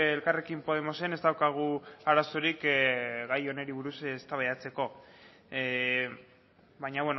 elkarrekin podemosen ez daukagu arazorik gai honi buruz eztabaidatzeko baina